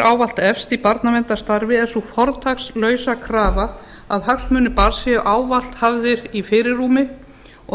ávallt efst í barnaverndarstarfi er sú fortakslausa krafa að hagsmunir barns séu ávallt hafðir í fyrirrúmi